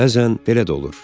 Bəzən belə də olur.